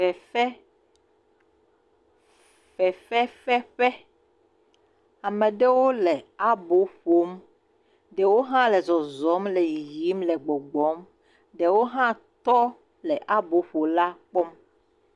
Fefe, fefefeƒe, ame ɖewo le abo ƒom, ɖewo hã le zɔzɔm le yiyim le gbɔgbɔm, ɖewo hã wotɔ le aboƒola kpɔm.